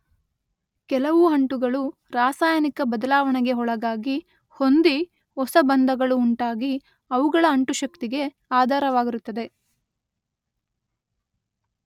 ಕೆಲವು ಅಂಟುಗಳು ರಾಸಾಯನಿಕ ಬದಲಾವಣೆಗೆ ಒಳಗಾಗಿ ಹೊಂದಿ ಹೊಸ ಬಂಧಗಳು ಉಂಟಾಗಿ ಅವುಗಳ ಅಂಟುಶಕ್ತಿಗೆ ಆಧಾರವಾಗಿರುತ್ತದೆ.